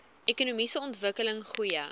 ekonomiese ontwikkeling goeie